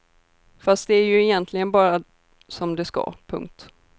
Fast det är ju egentligen bara som det ska. punkt